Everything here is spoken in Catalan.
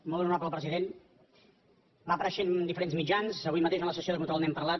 molt honorable president va apareixent en diferents mitjans avui mateix en la sessió de control n’hem parlat